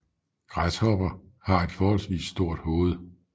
Græshopper har et forholdsvis stort hoved